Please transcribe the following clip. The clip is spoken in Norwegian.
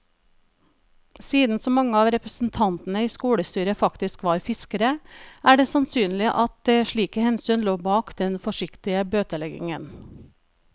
Siden så mange av representantene i skolestyret faktisk var fiskere, er det sannsynlig at slike hensyn lå bak den forsiktige bøteleggingen.